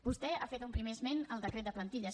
vostè ha fet un primer esment al decret de plantilles